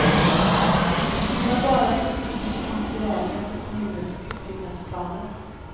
Vi har bara oturligt kommit i vägen för kommunens utbyggnadsplaner.